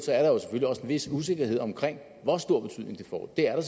vis usikkerhed om hvor stor betydning det får er